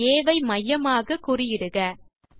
புள்ளி ஆ ஐ மையமாக குறியிடுக